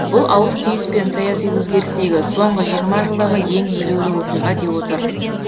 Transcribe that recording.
бұл ауыс түйіс пен саяси өзгерістегі соңғы жиырма жылдағы ең елеулі оқиға деп отыр